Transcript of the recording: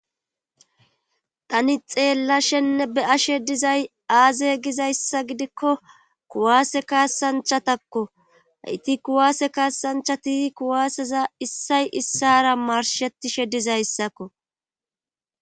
Tani xeella shenne be ashe dizay aaze gizayssa gidikko kuwaase kaassanchatakko hayti kuwaase kaassanchati kuwaaseza issay issara marshetishe dizayssakko.